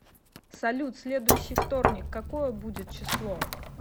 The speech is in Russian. салют следующий вторник какое будет число